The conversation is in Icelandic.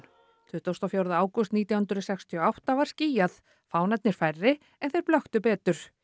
tuttugasta og fjórða ágúst nítján hundruð sextíu og átta var skýjað fánarnir færri en þeir blöktu betur